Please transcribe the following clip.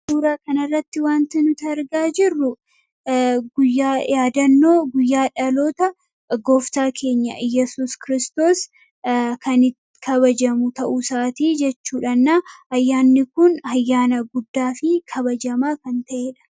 Suuraa kan irratti wanti nuti argaa jirru guyyaa yaadannoo guyyaadhaloota gooftaa keenya yesus kristoos kanitti kabajamu ta'u isaatii jechuudhannaa ayyaanni kun ayyaana guddaa fi kabajamaa kan ta'eedha.